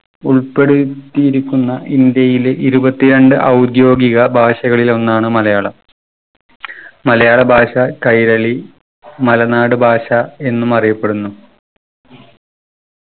ഉൾപ്പെടുത്തിയിരിക്കുന്ന ഇന്ത്യയിലെ ഇരുപത്തിരണ്ട് ഔദ്യോഗിക ഭാഷകളിൽ ഒന്നാണ് മലയാളം. മലയാള ഭാഷ കൈരളി മലനാട് ഭാഷ എന്നും അറിയപ്പെടുന്നു.